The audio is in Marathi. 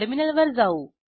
टर्मिनलवर जाऊ